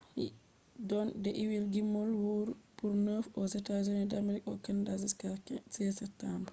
yimɓe watta gimmol man taran no amerika be kanada har satumba 16